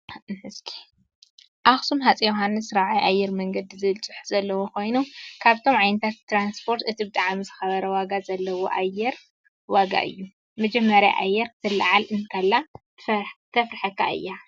ኣኽሱም ሃፀይ ዮውሃን 4ይ ኣየር መንዲ ዝብል ፅሑፍ ዘለዎ ኮይኑ ካብቶብ ዓይነታት ትራስፖት እቲ ብጣዕሚ ዝከበረ ዋጋ ዘለዎ ኣየር ዋጋ እዩ። መጀመርያ ኣየር ክትላዓል እትላ ተፍረሐካ እያ።